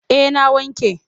Eh na wanke.